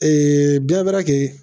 bɛɛ bɛ